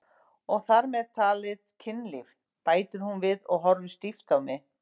Þar með talið kynlíf, bætir hún við og horfir stíft á mig.